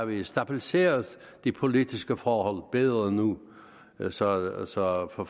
vi har stabiliseret de politiske forhold bedre nu nu så så for